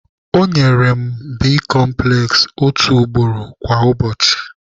Ọ nyere mụ bicomples otu ugboro kwa ụbọchị.